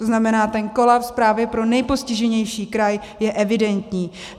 To znamená, ten kolaps právě pro nejpostiženější kraj je evidentní.